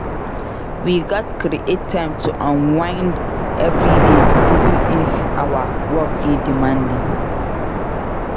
We gats create time to unwind every day even if our work dey demanding.